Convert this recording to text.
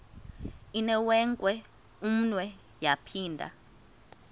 inewenkwe umnwe yaphinda